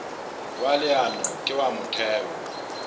wa leano ke wa motheo